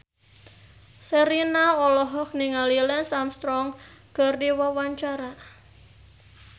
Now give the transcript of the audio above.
Sherina olohok ningali Lance Armstrong keur diwawancara